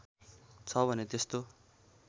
छ भने त्यस्तो